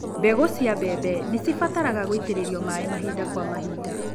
Mbegũ cia mbembe nĩcibataraga gũitĩrĩrio maĩ mahinda kwa mahinda.